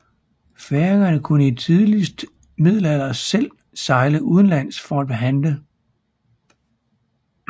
Færingerne kunne i tidligste middelalder selv sejle udenlands for at handle